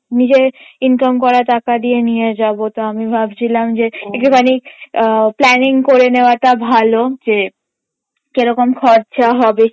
নিজের income করা টাকা দিয়ে নিয়ে যাবো তো আমি ভাবছিলাম যে একটুখানি আহ planning করে নেওয়াটা ভালো যে কিরকম খরচা হবে